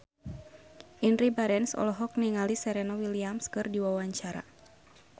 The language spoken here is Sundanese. Indy Barens olohok ningali Serena Williams keur diwawancara